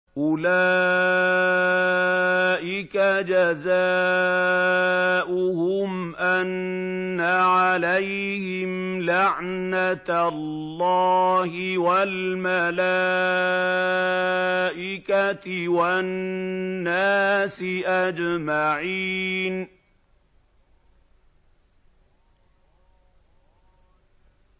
أُولَٰئِكَ جَزَاؤُهُمْ أَنَّ عَلَيْهِمْ لَعْنَةَ اللَّهِ وَالْمَلَائِكَةِ وَالنَّاسِ أَجْمَعِينَ